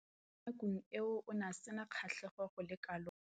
Mo nakong eo o ne a sena kgatlhego go le kalo mo temothuong.